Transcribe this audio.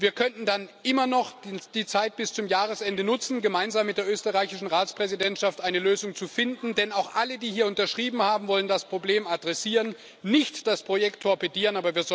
Wir könnten dann immer noch die Zeit bis zum Jahresende nutzen, gemeinsam mit der österreichischen Ratspräsidentschaft eine Lösung zu finden, denn auch alle, die hier unterschrieben haben, wollen das Problem adressieren, nicht das Projekt torpedieren.